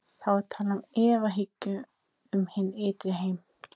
Þá er talað um efahyggju um hinn ytri heim.